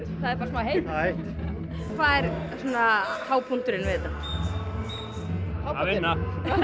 það er bara smá heitt hvað er svona hápunkturinn við þetta að vinna